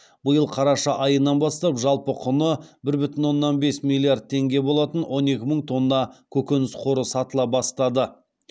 биыл қараша айынан бастап жалпы құны бір бүтін оннан бес миллиард теңге болатын он екі мың тонна көкөніс қоры сатыла бастады